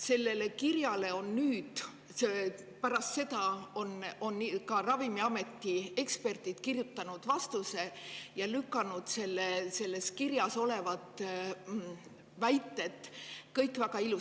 Sellele kirjale on nüüd Ravimiameti eksperdid vastuse kirjutanud ja kõik selles kirjas olevad väited väga ilusasti ümber lükanud.